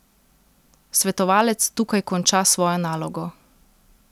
Svetovalec tukaj konča svojo nalogo.